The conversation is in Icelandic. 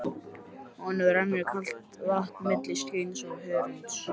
Honum rennur kalt vatn milli skinns og hörunds.